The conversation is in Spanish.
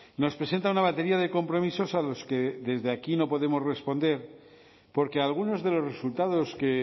nos presenta una batería de compromisos a los que desde aquí no podemos responder porque algunos de los resultados que